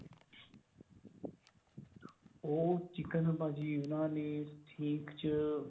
ਉਹ chicken ਭਾਜੀ ਉਨ੍ਹਾਂ ਨੇ ਸੀਂਖ ਚ